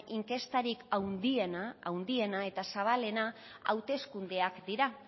inkestarik handiena eta zabalena hauteskundeak dira